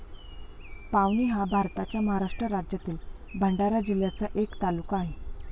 पावनी हा भारताच्या महाराष्ट्र राज्यातील भंडारा जिल्ह्याचा एक तालुका आहे.